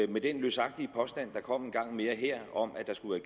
med den løsagtige påstand der kom en gang mere her om at der skulle